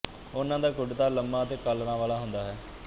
ਉਨ੍ਹਾਂ ਦਾ ਕੁੜਤਾ ਲੰਮਾ ਅਤੇ ਕਾਲਰਾਂ ਵਾਲਾ ਹੁੰਦਾ ਹੈ